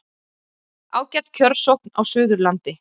Ágæt kjörsókn á Suðurlandi